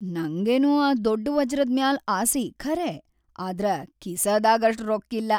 ನಂಗೇನೋ ಆ ದೊಡ್‌ ವಜ್ರದ್‌ ಮ್ಯಾಲ್‌ ಆಸಿ ಖರೇ ಆದ್ರ ಕಿಸದಾಗ್‌ ಅಷ್ಟ್‌ ರೊಕ್ಕಿಲ್ಲಾ.